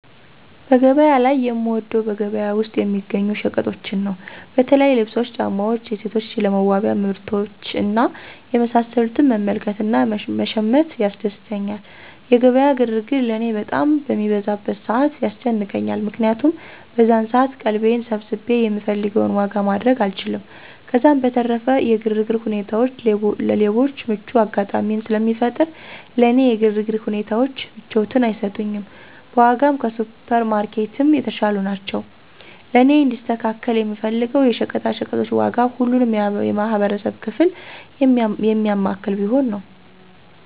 በገበያ ላይ የምወደው በገበያ ውስጥ የሚገኙ ሸቀጦችን ነው። በተለይ ልብሶች፣ ጫማዎች፣ የሴቶች ለመዋቢያ ምርቶች እና የመሳሰሉትን መመልከት እና መሸመት ያስደስተኛል። የገበያ ግርግር ለእኔ በጣም በሚበዛበት ሰዓት ያስጨንቀኛል። ምክንያቱም በዛን ሰዓት ቀልቤን ሰብስቤ የምፈልገውን ዋጋ ማድረግ አልችልም፤ ከዛም በተረፈ የግርግር ሁኔታዎች ለሌቦች ምቹ አጋጣሚን ስለሚፈጥር ለእኔ የግርግር ሁኔታዎች ምቾትን አይሰጡኝም። በዋጋም ከሱፐር ማርኬትም የተሻሉ ናቸው። ለእኔ እንዲስተካከል የምፈልገው የሸቀጣሸቀጦች ዋጋ ሁሉንም የማህበረሰብ ክፍል የሚያማክል ቢሆን።